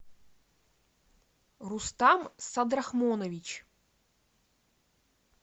рустам садрахмонович